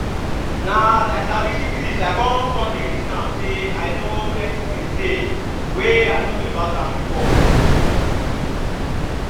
na as i sabi syphilis i come come the reason am say i no plenty things dey were i no know about am before